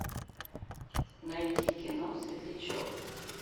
найти кино светлячок